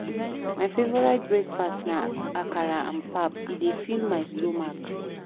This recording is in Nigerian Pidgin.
My favorite breakfast na akara and pap, e dey fill my stomach.